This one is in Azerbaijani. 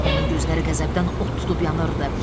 Onun gözləri qəzəbdən od tutub yanırdı.